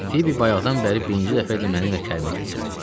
Fibi bayaqdan bəri birinci dəfə idi mənimlə kəlmə kəsirdi.